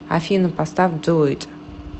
афина поставь ду ит